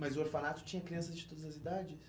Mas o orfanato tinha crianças de todas as idades?